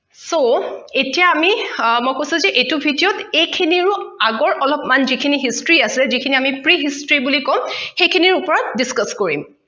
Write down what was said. so এতিয়া আমি আহ মই কৈছে যে এইটো video ত এইখিনিৰো আগৰ অলপমান যিখিনি history আছে যিখিনি আমি pre history বুলি কম সেইখিনিৰ ওপৰত discuss কৰিম